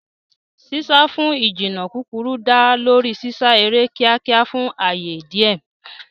Sísá fún ìjìnnà kúkúrú dá lórí sísá eré kíákíá fún ààyè díẹ̀.